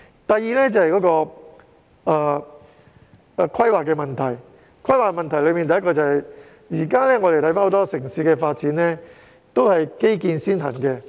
第二點有關規劃，而當中的首要問題是，我們看到香港的城市發展均是以基建先行。